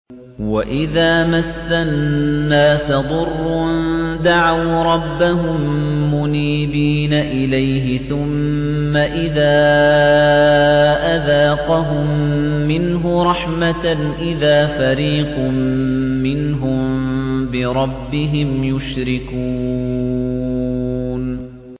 وَإِذَا مَسَّ النَّاسَ ضُرٌّ دَعَوْا رَبَّهُم مُّنِيبِينَ إِلَيْهِ ثُمَّ إِذَا أَذَاقَهُم مِّنْهُ رَحْمَةً إِذَا فَرِيقٌ مِّنْهُم بِرَبِّهِمْ يُشْرِكُونَ